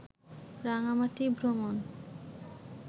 রাঙামাটি ভ্রমন